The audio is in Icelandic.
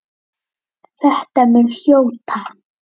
Þetta muntu hljóta.